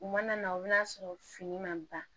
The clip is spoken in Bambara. U mana na o bɛna sɔrɔ fini ma ban